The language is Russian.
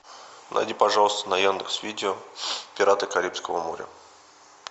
найди пожалуйста на яндекс видео пираты карибского моря